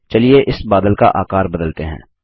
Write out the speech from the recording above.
चलिए इस बादल का आकार बदलते हैं